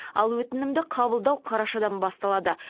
ал өтінімді қабылдау қарашадан басталады